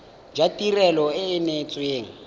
jwa tirelo e e neetsweng